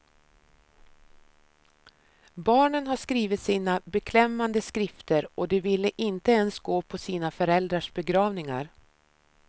Barnen har skrivit sina beklämmande skrifter och de ville inte ens gå på sina föräldrars begravningar.